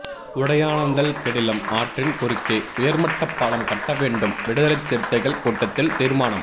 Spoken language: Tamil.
உடையானந்தல் கெடிலம் ஆற்றின் குறுக்கே உயர்மட்ட பாலம் கட்ட வேண்டும் விடுதலைச் சிறுத்தைகள் கூட்டத்தில் தீர்மானம்